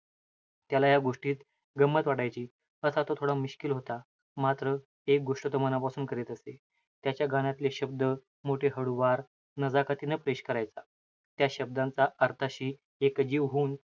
त्याला या गोष्टीत, गम्मत वाटायची. असा तो थोडा मिश्किल होता. मात्र, एक गोष्ट तो मनापासून करीत असे. त्याच्या गाण्यातले शब्द मोठे हळुवार, नजाकतीनं पेश करायचा. त्या शब्दांचा अर्थाशी एकजीव होऊन,